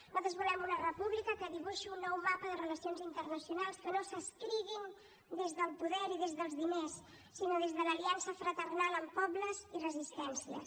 nosaltres volem una república que dibuixi un nou mapa de relacions internacionals que no s’escriguin des del poder i des dels diners sinó des de l’aliança fraternal amb pobles i resistències